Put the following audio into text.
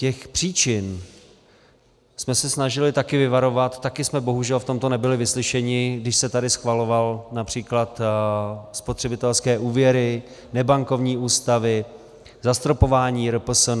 Těch příčin jsme se snažili taky vyvarovat, taky jsme bohužel v tomto nebyli vyslyšeni, když se tady schvalovaly například spotřebitelské úvěry, nebankovní ústavy, zastropování RPSN.